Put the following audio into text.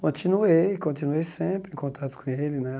Continuei, continuei sempre em contato com ele, né?